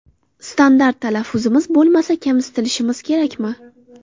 Standart talaffuzimiz bo‘lmasa, kamsitilishimiz kerakmi?